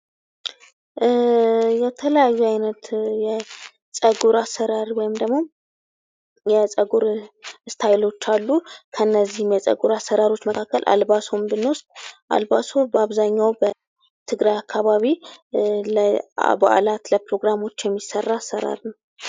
የተለያዩ አይነት የፀጉር አሰራር ወይም ደግሞ የፀጉር ስታይሎች አሉ። ከእነዚህም የፀጉር አሰራሮች መካከል አልባሶን ብንወስድ፤ አልባሶ በአብዛኛዉ በትግራይ አካባቢ ለበዓላት ለአከባበር የሚሰራ አሰራር ነዉ።